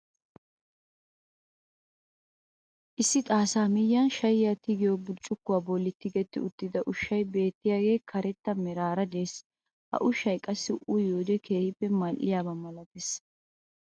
Issi xaassaa miyiyaan shayiyaa tigiyoo burccukuwaa bolli tigetti uttida ushshaay beettiyaagee karetta meraara de'ees. ha ushshay qassi uyiyoode keehippe mal"iyaaba malates.